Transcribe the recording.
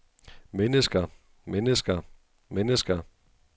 mennesker mennesker mennesker